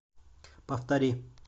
повтори